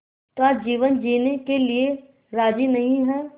का जीवन जीने के लिए राज़ी नहीं हैं